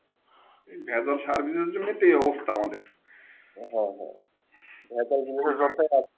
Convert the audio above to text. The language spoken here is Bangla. বেঝাল সার বিলে জন্য এই অবস্তা আমাদের বেজালে জন্যে